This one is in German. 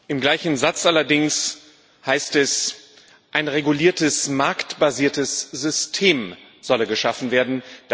Im gleichen Satz allerdings heißt es, ein reguliertes marktbasiertes System solle geschaffen werden.